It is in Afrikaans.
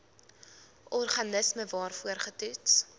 organisme waarvoor getoets